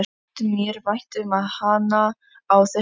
Þótti mér vænt um hana á þessum árum?